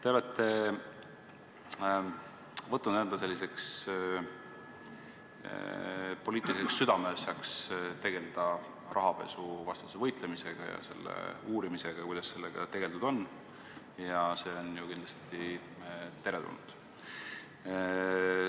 Te olete võtnud enda poliitiliseks südameasjaks tegeleda rahapesuvastase võitlusega ja uurimisega, kuidas sellega tegeldud on – ja see on ju kindlasti teretulnud.